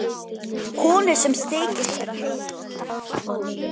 Konu sem þykist vera heilög.